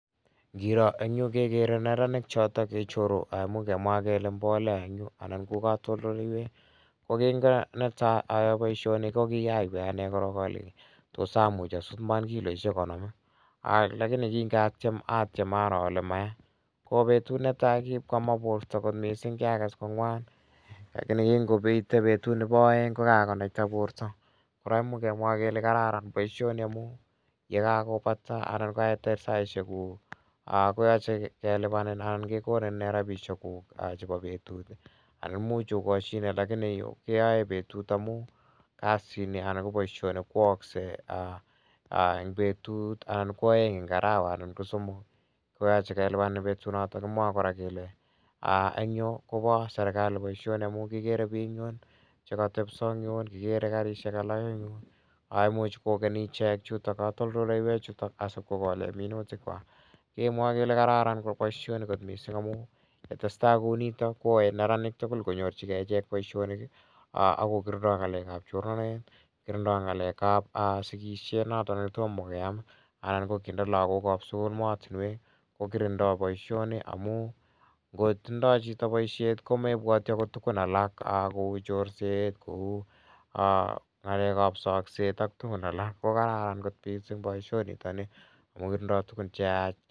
Ngiro eng' kekere neranik che ichoru, imuch kemwa kele mbolea eng' yu anan ko katoltoloiwek. Ko kingo netai ayae poishoni ko ki kaywei ane korok ale tos amuch asut iman kiloishek konom i? Lakini kinga tiem atiem aro ale maya. Ko petut ne tai ko kipko ama porto missing', kiakas komwan lakini kingoite petut nepo aeng' ko ka konaita porto. Kora imuch kemwa kele kararan poishoni amu ye kakopata anan ko kaitar saishekuk ko yache kelipanin anan kekonin rapishekuk chepo petut anan imuch okashine lakini yu keyaee petut amu kasini anan ko poishoni ko aakse eng' petut anan ko aeng' eng' arawa anan ko somok. Ko yache kelipanin petunotok. Kimwae kora kele eng' yu ko pa serkali poishoni amu kikere piik eng' yun che katepiso eng' yun. Kikere karishek alak eng' yun. Imuch kokeni ichek, kokeni chutok katoltoloiwechutok asip ko kole minutikwak. Kekere kele kararan missing' poishoni kot missing' amu ye tes tai kou nitok ko yae neranik tugul konyorchigei ichek poishonik ak kokirindai ng'alek ap chornanet. Kiri dai ng'alek ap sikishet notok ne toma koyam. Kinde lagokap sukul maatinwek ko kirindai poishoni amh ngo tindai poishet ko mepwati akot tugun alak kou chorset, kou ng'alek ap sakset ak tugun alak. Ko kararan missing' poisoni amu tindai tugun alak.